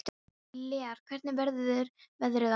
Lér, hvernig verður veðrið á morgun?